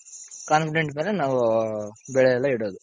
confident ಮೇಲೆ ನಾವು ಬೆಳೆಯೆಲ್ಲ ಇಡೋದು.